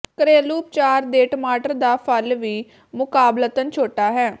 ਘਰੇਲੂ ਉਪਚਾਰ ਦੇ ਟਮਾਟਰ ਦਾ ਫਲ ਵੀ ਮੁਕਾਬਲਤਨ ਛੋਟਾ ਹੈ